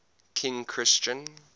king christian